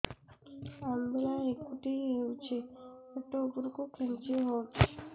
ଅମ୍ବିଳା ହେକୁଟୀ ହେଉଛି ପେଟ ଉପରକୁ ଖେଞ୍ଚି ହଉଚି